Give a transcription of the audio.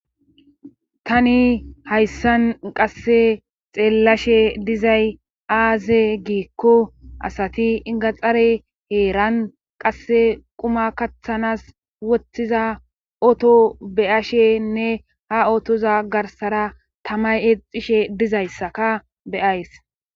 Tani hayssan qasse xeellashe dizay aaze giikko asati ingaxare heeran qasse quma kathanas woththiza otto beyashenne ha otoza garsara tamay eexishshe dizayssakak be'ays